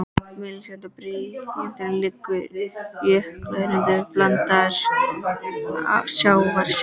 Mislægt á blágrýtinu liggur jökulruðningur blandaður sjávarseti.